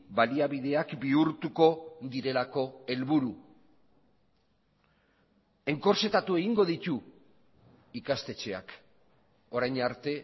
baliabideak bihurtuko direlako helburu enkortsetatu egingo ditu ikastetxeak orain arte